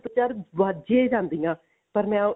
ਚਾਰ ਵੱਜ ਹੀ ਜਾਂਦੀਆਂ ਪਰ ਮੈਂ